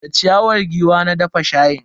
Da ciyawar giwa na dafa shayin.